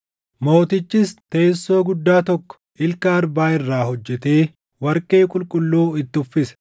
Mootichis teessoo guddaa tokko ilka arbaa irraa hojjetee warqee qulqulluu itti uffise.